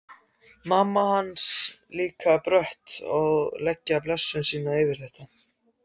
Mamma hans líka brött að leggja blessun sína yfir þetta.